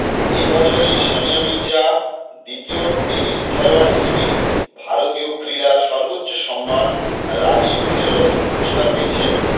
এবছরই সানিয়া মির্জা দ্বিতীয় টেনিস খেলোয়াড় হিসেবে ভারতীয় ক্রীড়ার সর্বোচ্চ সম্মান রাজীব খেলরত্ন পুরস্কার পেয়েছেন